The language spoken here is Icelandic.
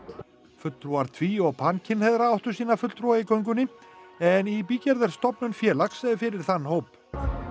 fulltrúar tví og áttu sína fulltrúa í göngunni en í bígerð er stofnun félag fyrir þann hóp